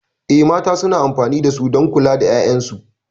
Eh, mata suna amfani da su don kula da 'ya'yansu.